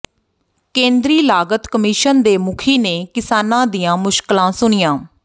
ਕੇਂਦਰੀ ਲਾਗਤ ਕਮਿਸ਼ਨ ਦੇ ਮੁਖੀ ਨੇ ਕਿਸਾਨਾਂ ਦੀਆਂ ਮੁਸ਼ਕਲਾਂ ਸੁਣੀਆਂ